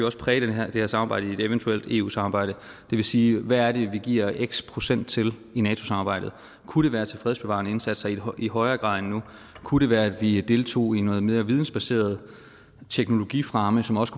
også præge det her samarbejde i et eventuelt eu samarbejde det vil sige hvad er det vi giver x procent til i nato samarbejdet kunne det være til fredsbevarende indsatser i i højere grad end nu kunne det være at vi deltog noget mere i vidensbaseret teknologifremme som også